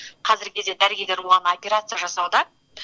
қазіргі кезде дәрігерлер оған операция жасауда